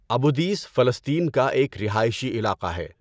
ابو Dis فلسطین کا ایک رہائشی علاقہ ہے۔